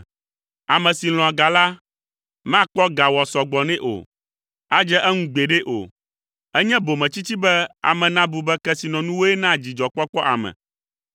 Ame si lɔ̃a ga la, makpɔ ga wòasɔ gbɔ nɛ, adze eŋu gbeɖe o. Enye bometsitsi be ame nabu be kesinɔnuwoe naa dzidzɔkpɔkpɔ ame!